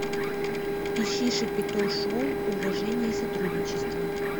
ищи шапито шоу уважение и сотрудничество